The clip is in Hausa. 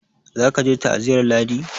za ka je ta aziyar ladi!